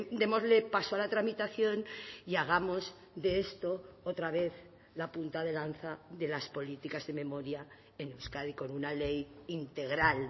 démosle paso a la tramitación y hagamos de esto otra vez la punta de lanza de las políticas de memoria en euskadi con una ley integral